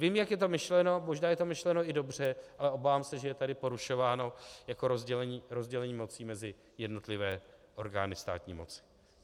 Vím, jak je to myšleno, možná je to myšleno i dobře, ale obávám se, že je tady porušováno jako rozdělení moci mezi jednotlivé orgány státní moci.